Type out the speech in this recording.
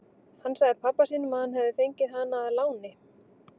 Hann sagði pabba sínum að hann hefði fengið hana að láni.